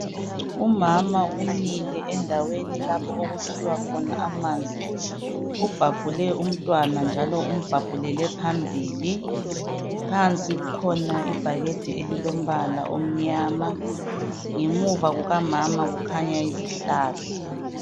Umama umile endaweni lapha okukhiwa khona amanzi ubhabhule umntwana njalo umbhabhulele phambili phansi kukhona ibhakede elilombala omnyama ngemuva kukamama kukhanya izihlahla